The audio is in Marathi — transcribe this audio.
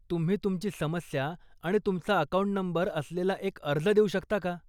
तुम्ही तुमची समस्या आणि तुमचा अकाऊंट नंबर असलेला एक अर्ज देऊ शकता का?